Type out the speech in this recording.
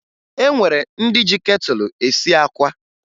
O nwere ndị ji ketụlụ esi àkwá